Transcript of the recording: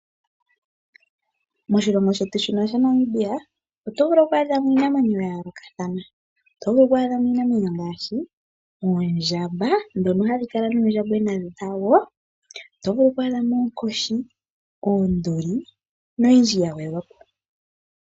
Moshilongo shetu shino shaNamibia otovulu oku adhamo iinamwenyo uayoolokathana ,otovulu okwaadhamo iinamwenyo ngaashi oondjamba dhono hadhikala nuundjambwena wadho ,otovulu okwaadhamo oonkoshi ,oonduli noyindji yagwedhwapo.